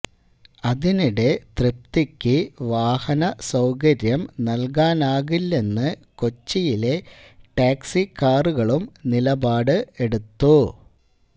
അതിനിടെ തൃപ്തിക്ക് വാഹനസൌകര്യം നൽകാനാകില്ലെന്ന് കൊച്ചിയിലെ ടാക്സികാറുകളും നിലപാട് എടുത്തു